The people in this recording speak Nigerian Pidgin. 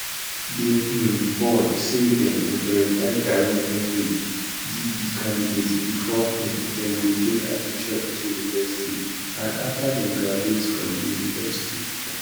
di um board say dem go verify direct entry de candidates bifor um dem go gain admission into university and afta dem graduate from di university